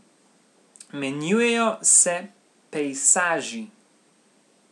Menjujejo se pejsaži.